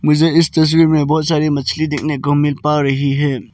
इस तस्वीर में बहुत सारी मछली देखने को मिल पा रही है।